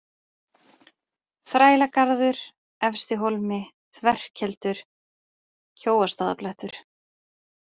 Þrælagarður, Efstihólmi, Þverkeldur, Kjóastaðablettur